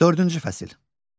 Dördüncü fəsil.